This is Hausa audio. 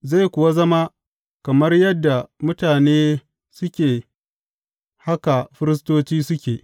Zai kuwa zama, kamar yadda mutane suke, haka firistoci suke.